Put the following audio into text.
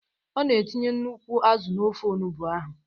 Ọ na etinye nnukwu azụ n'ofe onugbo ahụ.